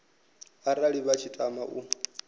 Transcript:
arali vha tshi tama u